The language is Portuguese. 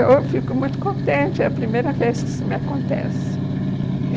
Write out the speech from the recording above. Eu fico muito contente, é a primeira vez que isso me acontece.